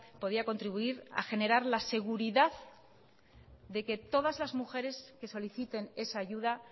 podría contribuir a generar la seguridad de que todas las mujeres que soliciten esa ayuda